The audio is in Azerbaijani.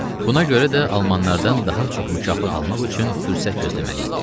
Buna görə də almanlardan daha çox mükafat almaq üçün fürsət gözləməli idi.